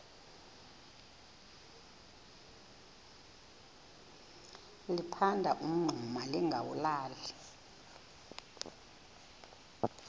liphanda umngxuma lingawulali